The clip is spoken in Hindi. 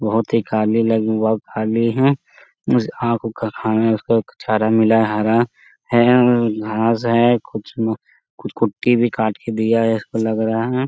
बहुत ही लगी हैं वो जो खाना है उसको एक चारा मिला है हरा है और उम घास है कुछ कुछ कुट्टी भी काट के दिया है इसको लग रहा है।